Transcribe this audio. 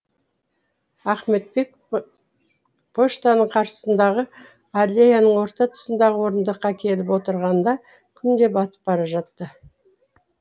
ахметбек почтаның қарсысындағы аллеяның орта тұсындағы орындыққа келіп отырғанында күн де батып бара жатты